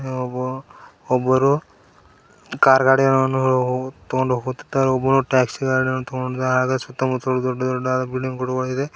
ಹಾಗೂ ಒಬ್ಬರು ಕಾರ್ ಗಾಡಿಯನ್ನು ತಗೊಂಡು ಹೋಗುತ್ತಿದ್ದಾರೆ ಒಬ್ಬರು ಟ್ಯಾಕ್ಸಿ ಗಾಡಿಯನ್ನು ತಗೊಂಡಿದ್ದಾರೆ ಸುತ್ತಮುತ್ತಲು ದೊಡ್ಡ ದೊಡ್ಡ ಬಿಲ್ಡಿಂಗ್ ಗಳು ಆಗಿದೆ.